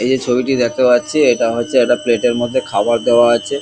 এই যে ছবিটি দেখতে পাচ্ছি এটা হচ্ছে একটা প্লেট এর মধ্যে খাবার দেওয়া আছে।